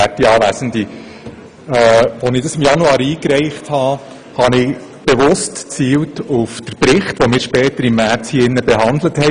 Als ich diesen Vorstoss im Januar einreichte, habe ich bewusst auf den Bericht gezielt, den wir im März im Grossen Rat behandelt haben.